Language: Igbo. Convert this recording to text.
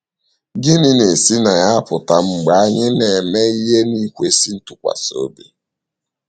Gịnị na - esi na ya apụta mgbe anyị ‘ na - eme ihe n’ikwesị ntụkwasị obi ’?